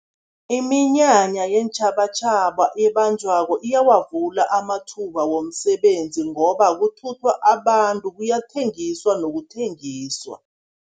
Iminyanya yeentjhabatjhaba ebanjwako iyawavula amathuba womsebenzi, ngoba kuthuthwa abantu, kuyathengiswa nokuthengiswa.